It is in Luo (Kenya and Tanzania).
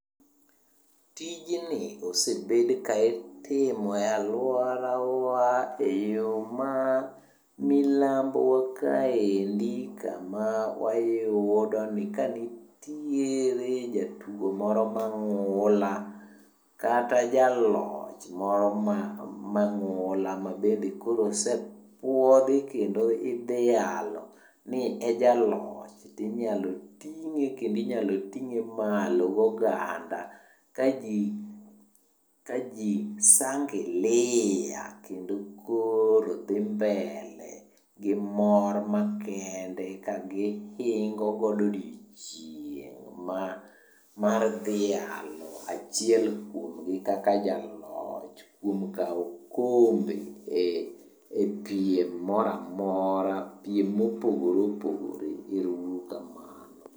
Tijni osebed ka itimo e alworawa e yo ma milambowa kaendi kama wayudoni ka nitiere jatugo moro mang'ula kata jaloch moro mangula ma koro bende osepwodhi kendo idhialo ni e jaloch tinyalo ting'e kendo inyalo ting'e malo goganda ka ji sangilia, kendo koro dhi mbele gi mor makende kagihingo godo odiechieng' mar dhialo achiel kuomgi kaka jaloch kuom kawo okombe e piem mora mora. Piem mopogore opogore. Ero uru kamano.